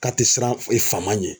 K'a te siran e fama ɲɛn